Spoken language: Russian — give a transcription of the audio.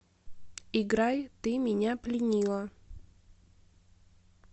играй ты меня пленила